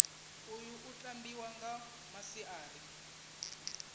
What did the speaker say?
uyu u tambiwa nga masiari